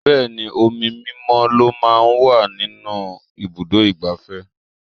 Bẹẹni, omi mímọ́ lọ máa ń wà ní ibùdó igbàfẹ́.